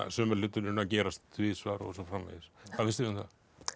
sömu hlutirnir að gerast tvisvar og svo framvegis hvað finnst þér um það